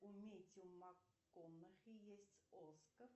у мэттью макконахи есть оскар